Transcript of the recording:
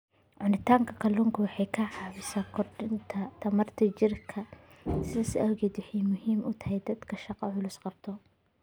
Cunista kalluunku waxa ay caawisaa korodhka tamarta jidhka, sidaas awgeed waxa ay muhiim u tahay dadka shaqo culus qabta.